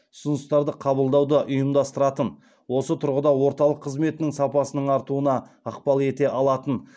ұсыныстарды қабылдауды ұйымдастыратын осы тұрғыда орталық қызметінің сапасының артуына ықпал ете алатын